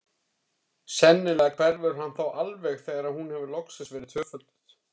Sennilega hverfur hann þá alveg þegar hún hefur loksins verið tvöfölduð.